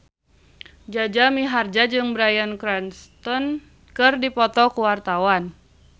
Jaja Mihardja jeung Bryan Cranston keur dipoto ku wartawan